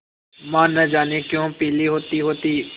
माँ न जाने क्यों पीली होतीहोती